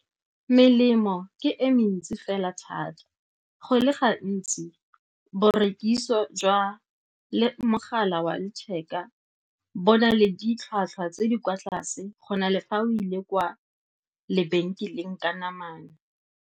Melemo ke e mentsi fela thata. Go le gantsi borekiso jwa mogala wa letheka bo na le ditlhwatlhwa tse di kwa tlase go na le fa o ile kwa lebenkeleng ka namana.